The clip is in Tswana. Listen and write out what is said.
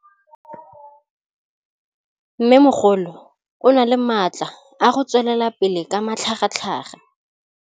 Mmêmogolo o na le matla a go tswelela pele ka matlhagatlhaga.